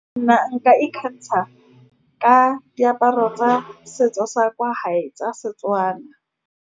Nna nka ikgantsha ka diaparo tsa setso sa kwa hae tsa Setswana.